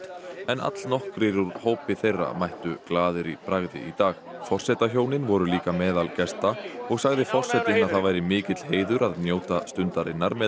en allnokkrir úr hópi þeirra mættu glaðir í bragði í dag forsetahjónin voru líka meðal gesta og sagði forsetinn að það væri mikill heiður að njóta stundarinnar með